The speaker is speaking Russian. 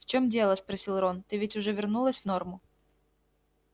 в чем дело спросил рон ты ведь уже вернулась в норму